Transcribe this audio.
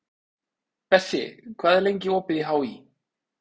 Bessi, hvað er lengi opið í HÍ?